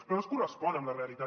però no es correspon amb la realitat